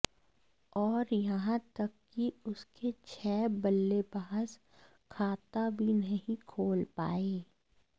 और यहां तक कि उसके छह बल्लेबाज खाता भी नहीं खोल पाए